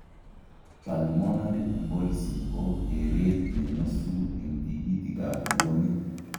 Pulmonary embolism ko kereet nenyosu eng' tigitik ab buonik